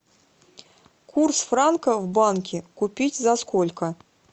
курс франка в банке купить за сколько